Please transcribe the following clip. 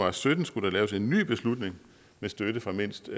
og sytten skulle laves en ny beslutning med støtte fra mindst